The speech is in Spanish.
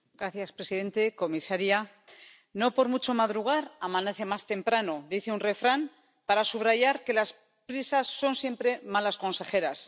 Señor presidente, comisaria, No por mucho madrugar amanece más temprano dice un refrán para subrayar que las prisas son siempre malas consejeras.